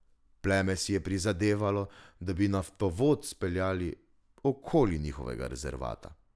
Pleme si je prizadevalo, da bi naftovod speljali okoli njihovega rezervata.